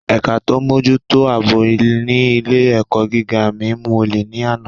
Ẹ̀ka tó ń mójútó ètò ààbò ní ilé - èkọ́ gíga mi mú olè ní àná